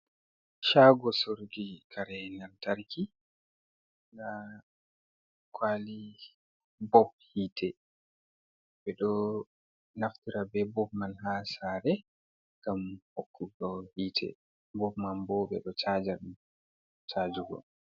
Caago soruki kare yiite lantarki, ndaa kuwali bob yiiite, ɓe ɗo naftira be bob man haa saare, ngam hokkugo yiite, bob man bo, ɓe ɗo caaja caajugo.